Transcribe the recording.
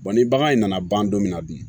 ni bagan in nana ban don min na bi